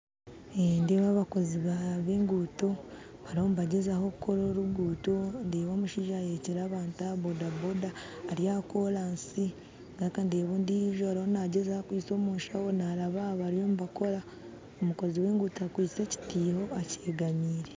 Nindeeba abakozi b'engutto bariho nibagyezaho kukora orugutto ndeba omushaija ahekyire abantu aha bodaboda ari aha koransi ngaruka ndeeba ondijo arumu nagyezaho akwitse omunshaho naraba aha bariyo nibakora, omukozi w'engutto akwitse ekyitiiho akyegamiire.